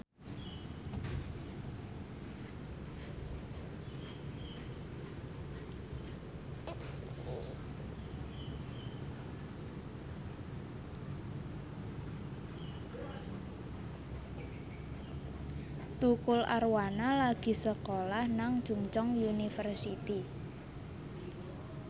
Tukul Arwana lagi sekolah nang Chungceong University